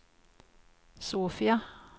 Sofia